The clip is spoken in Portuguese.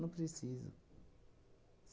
Não precisa.